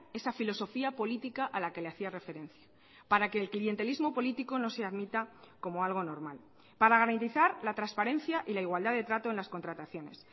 esa filosofía política a la que le hacía referencia para que el clientelismo político no se admita como algo normal para garantizar la transparencia y la igualdad de trato en las contrataciones